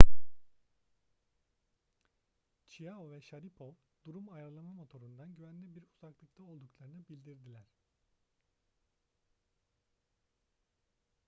chiao ve sharipov durum ayarlama motorundan güvenli bir uzaklıkta olduklarını bildirdiler